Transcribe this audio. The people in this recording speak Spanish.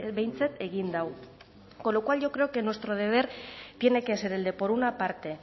behintzat egin du con lo cual yo creo que nuestro deber tiene que ser el de por una parte